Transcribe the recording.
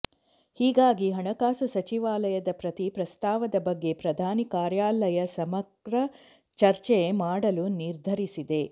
ಹೀಗಾಗಿ ಹಣಕಾಸು ಸಚಿವಾಲಯದ ಪ್ರತಿ ಪ್ರಸ್ತಾವದ ಬಗ್ಗೆ ಪ್ರಧಾನಿ ಕಾರ್ಯಾಲಯ ಸಮಗ್ರ ಚರ್ಚೆ ಮಾಡಲು ನಿರ್ಧರಿಸಿದೆ